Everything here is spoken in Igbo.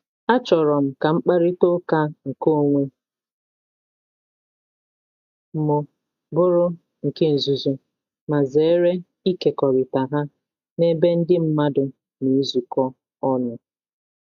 Achọrọ m ka mkparịta ụka nke onwe m bụrụ nke nzuzo, ma zere ịkekọrịta ha n’ebe ndị mmadụ na ezukọ ọnụ.